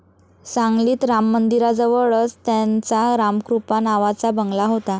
सांगलीत राममंदिराजवळच त्यांचा रामकृपा नावाचा बंगला होता.